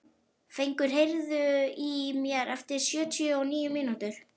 Fengur, heyrðu í mér eftir sjötíu og níu mínútur.